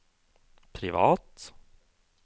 privat